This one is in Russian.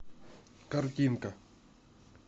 картинка